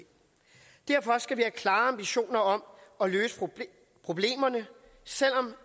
derfor skal vi have klare ambitioner om at løse problemerne selv om